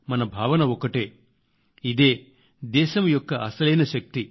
మన భావన ఒక్కటేఇదే దేశం యొక్క అసలైన శక్తి